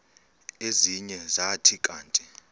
ezinye zathi kanti